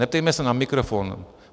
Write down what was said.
Neptejme se na mikrofon.